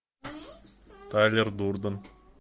тайлер дурден